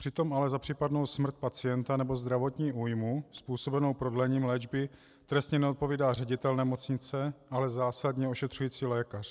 Přitom ale za případnou smrt pacienta nebo zdravotní újmu způsobenou prodlením léčby trestně neodpovídá ředitel nemocnice, ale zásadně ošetřující lékař.